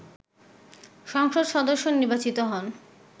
সংসদ সদস্য নির্বাচিত হন